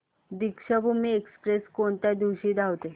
Deekshabhoomi express कोणत्या दिवशी धावते